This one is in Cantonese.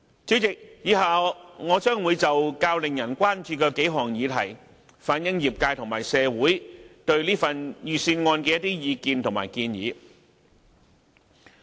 主席，以下我將會就數項較令人關注的議題，反映業界和社會對預算案的意見和建議。